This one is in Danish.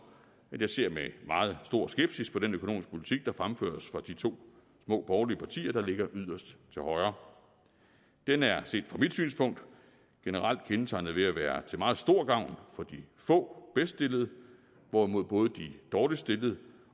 at jeg ser med meget stor skepsis på den økonomiske politik der fremføres fra de to små borgerlige partier der ligger yderst til højre den er set fra mit synspunkt generelt kendetegnet ved at være til meget stor gavn for de få bedststillede hvorimod både de dårligst stillede